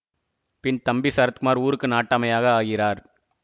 பின் தம்பி சரத்குமார் ஊருக்கு நாட்டாமையாக ஆகிறார்